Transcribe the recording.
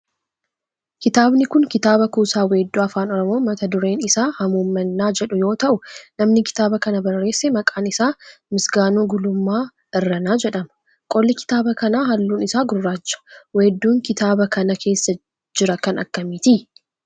kitaabni kun kitaaba kuusaa weedduu afaan oromoo mata dureen isaa hamuummannaa jedhu yoo ta'u namni kitaaba kana barreesse maqaan isaa Misgaanuu Guulummaa Irranaa jedhama. qolli kitaaba kana halluun isaa gurraacha. weedduun kitaaba kana keessa jira kan akkamiiti?